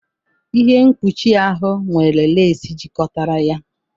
Ihe mkpuchi ahụ nwere lace jikọtara ya